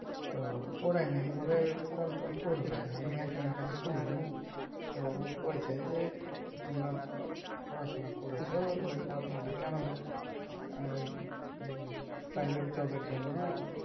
তোরা ওরাই বলে কল টল করবে আমি একজনের কাছে শুনলুম তো ও কয়েছে যে তোমরা পড়াশোনা করেছ তো তোমরা কেন private job এর জন্য"